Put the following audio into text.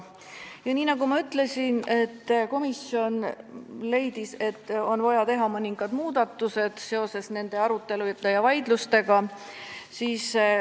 Ja nagu ma ütlesin, komisjon leidis pärast toimunud arutelu ja vaidlusi, et on vaja teha mõningad muudatused.